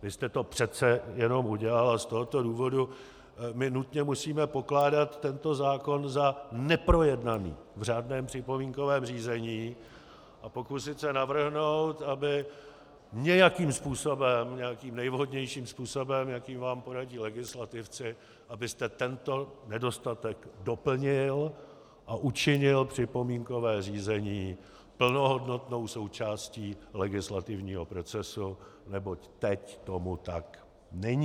Vy jste to přece jenom udělal a z tohoto důvodu my nutně musíme pokládat tento zákon za neprojednaný v řádném připomínkovém řízení a pokusit se navrhnout, aby nějakým způsobem, nějakým nejvhodnějším způsobem, jaký vám poradí legislativci, abyste tento nedostatek doplnil a učinil připomínkové řízení plnohodnotnou součástí legislativního procesu, neboť teď tomu tak není.